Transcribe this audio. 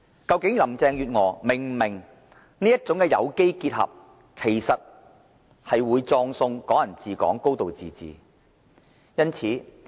究竟林鄭月娥是否明白這種有機結合，其實會葬送"港人治港"、"高度自治"？